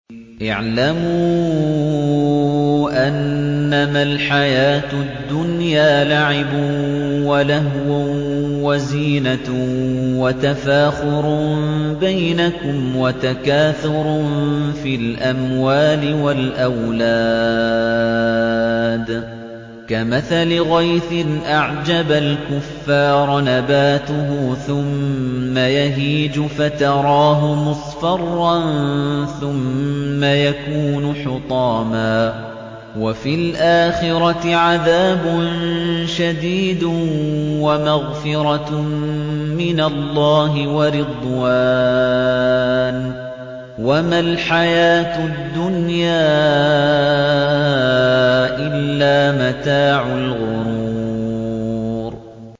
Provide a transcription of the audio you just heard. اعْلَمُوا أَنَّمَا الْحَيَاةُ الدُّنْيَا لَعِبٌ وَلَهْوٌ وَزِينَةٌ وَتَفَاخُرٌ بَيْنَكُمْ وَتَكَاثُرٌ فِي الْأَمْوَالِ وَالْأَوْلَادِ ۖ كَمَثَلِ غَيْثٍ أَعْجَبَ الْكُفَّارَ نَبَاتُهُ ثُمَّ يَهِيجُ فَتَرَاهُ مُصْفَرًّا ثُمَّ يَكُونُ حُطَامًا ۖ وَفِي الْآخِرَةِ عَذَابٌ شَدِيدٌ وَمَغْفِرَةٌ مِّنَ اللَّهِ وَرِضْوَانٌ ۚ وَمَا الْحَيَاةُ الدُّنْيَا إِلَّا مَتَاعُ الْغُرُورِ